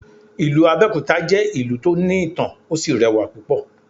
Ìlú Abẹ́òkúta jẹ́ ìlú tó ní ìtàn, ó sì rẹwà púpọ̀.